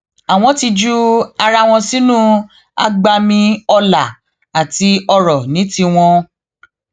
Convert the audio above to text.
àwọn ti ju ara wọn sínú agbami ọlá àti ọrọ ní tiwọn